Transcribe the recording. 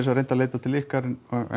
segja reynt að leita til ykkar